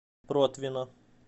протвино